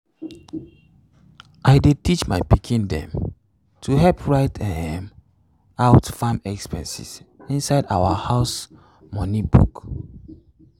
i dey teach my pikin dem to help write um out farm expenses inside our house money book.